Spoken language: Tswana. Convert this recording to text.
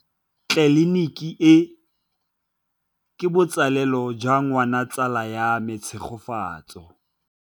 Tleliniki e, ke botsalêlô jwa ngwana wa tsala ya me Tshegofatso.